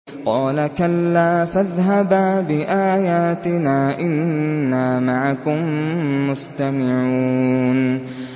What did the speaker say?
قَالَ كَلَّا ۖ فَاذْهَبَا بِآيَاتِنَا ۖ إِنَّا مَعَكُم مُّسْتَمِعُونَ